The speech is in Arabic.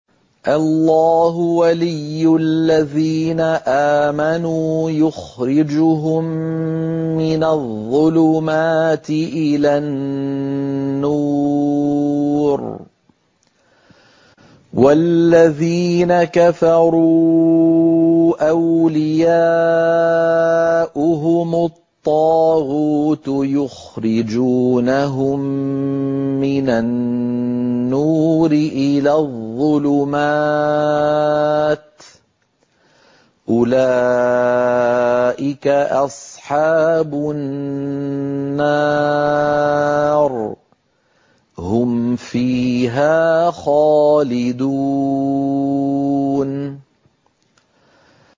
اللَّهُ وَلِيُّ الَّذِينَ آمَنُوا يُخْرِجُهُم مِّنَ الظُّلُمَاتِ إِلَى النُّورِ ۖ وَالَّذِينَ كَفَرُوا أَوْلِيَاؤُهُمُ الطَّاغُوتُ يُخْرِجُونَهُم مِّنَ النُّورِ إِلَى الظُّلُمَاتِ ۗ أُولَٰئِكَ أَصْحَابُ النَّارِ ۖ هُمْ فِيهَا خَالِدُونَ